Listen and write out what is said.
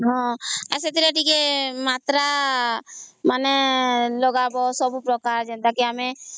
ଆଉ ସେଥରେ ଟିକେ ମାତ୍ର ମାନେ ଲଗାଵ ସବୁ ପ୍ରକାର ଯେନ୍ତା କି